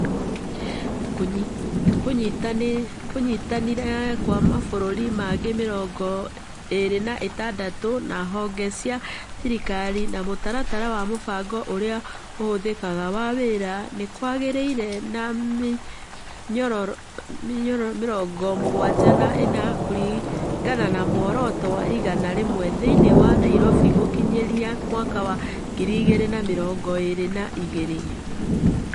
Kũnyitanĩra kwa mabũrũri mangĩ mĩrongo ĩĩrĩ na ithathatũ, na honge cia thirikari na mũtaratara wa Mũbango Ũrĩa Ũhũthĩkaga wa Wĩra nĩ kwagĩire na mĩnyororo mĩrongo mũgwanja na ĩnana kũringana na muoroto wa igana rĩmwe thĩinĩ wa Nairobi gũkinyĩria mwaka wa ngiri igĩrĩ na mĩrongo ĩĩrĩ na igĩrĩ.